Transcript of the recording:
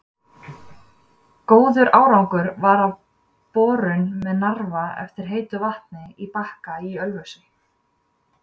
Góður árangur varð af borun með Narfa eftir heitu vatni á Bakka í Ölfusi.